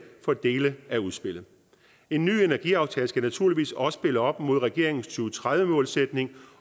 for dele af udspillet en ny energiaftale skal naturligvis også spille op imod regeringens to tredive målsætning